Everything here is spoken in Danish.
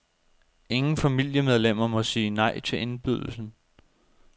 Ingen familiemedlemmer må sige nej til indbydelsen.